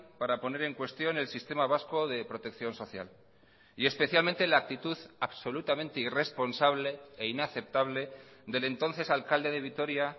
para poner en cuestión el sistema vasco de protección social y especialmente la actitud absolutamente irresponsable e inaceptable del entonces alcalde de vitoria